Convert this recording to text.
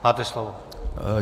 Máte slovo.